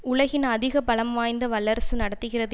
உலகின் அதிக பலம் வாய்ந்த வல்லரசு நடத்துகிறது